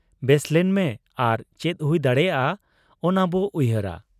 ᱵᱮᱥᱞᱮᱱ ᱢᱮ ᱟᱨ ᱪᱮᱫ ᱦᱩᱭ ᱫᱟᱲᱮᱭᱟᱜ ᱟ ᱚᱱᱟᱵᱚ ᱩᱭᱦᱟᱹᱨᱟ ᱾